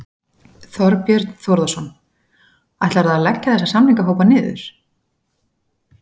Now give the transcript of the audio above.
Þorbjörn Þórðarson: Ætlarðu að leggja þessa samningahópa niður?